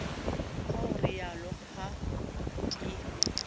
ka ho rialo ha ke